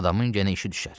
Adamın yenə işi düşər.